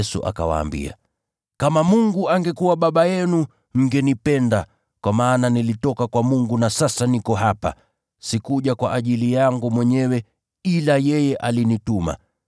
Yesu akawaambia, “Kama Mungu angekuwa Baba yenu, mngenipenda, kwa maana nilitoka kwa Mungu na sasa niko hapa. Sikuja kwa ajili yangu mwenyewe, ila yeye alinituma.